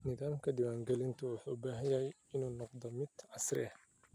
Nidaamka diiwaangelinta wuxuu u baahan yahay inuu noqdo mid casri ah.